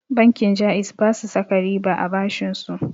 Bankin ja'iz basu saka riba a bashinsu